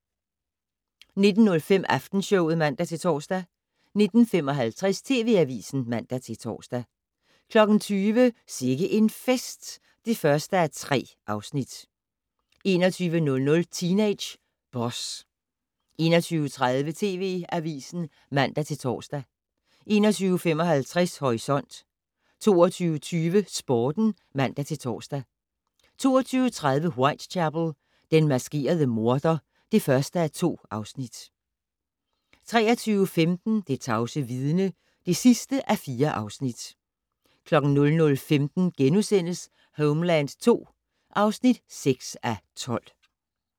19:05: Aftenshowet (man-tor) 19:55: TV Avisen (man-tor) 20:00: Sikke en fest (1:3) 21:00: Teenage Boss 21:30: TV Avisen (man-tor) 21:55: Horisont 22:20: Sporten (man-tor) 22:30: Whitechapel: Den maskerede morder (1:2) 23:15: Det tavse vidne (4:4) 00:15: Homeland II (6:12)*